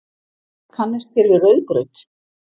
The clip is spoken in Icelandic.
Kannist þér við rauðgraut?